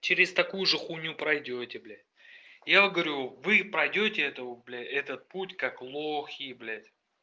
через такую же хуйню пройдёте бля я вам говорю вы пройдёте это блядь этот путь как лохи блядь